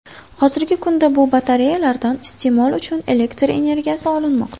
Hozirgi kunda bu batareyalardan iste’mol uchun elektr energiyasi olinmoqda.